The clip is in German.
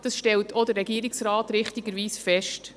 Dies stellt auch der Regierungsrat richtigerweise fest.